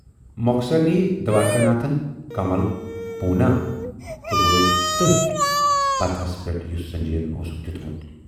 مۅخصر نِیہِ دوارِکا ناتھن کملؔ پوٗناہ تہٕ وٲتۍ تٔتھۍ پَتہٕ ہَس پٮ۪ٹھ یُس سنجے یَن اوسُکھ دِیُتمُت۔